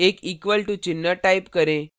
एक equal to चिन्ह type करें